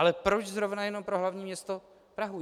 Ale proč zrovna jenom pro hlavní město Prahu?